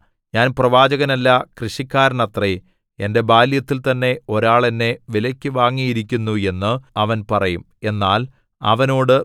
ഞാൻ പ്രവാചകനല്ല കൃഷിക്കാരനത്രേ എന്റെ ബാല്യത്തിൽ തന്നെ ഒരാൾ എന്നെ വിലയ്ക്കു വാങ്ങിയിരിക്കുന്നു എന്ന് അവൻ പറയും എന്നാൽ അവനോട്